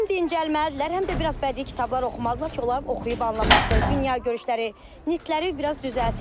Həm dincəlməlidirlər, həm də biraz bədii kitablar oxumalıdırlar ki, onların oxuyub anlaması, dünyagörüşləri, nitqləri biraz düzəlsin.